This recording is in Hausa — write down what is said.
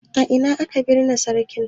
A ina aka binne sarkin?